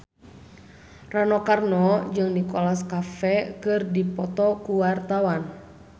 Rano Karno jeung Nicholas Cafe keur dipoto ku wartawan